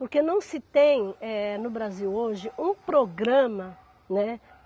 Porque não se tem, eh, no Brasil hoje, um programa, né?